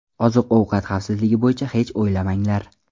Oziq-ovqat xavfsizligi bo‘yicha hech o‘ylamanglar.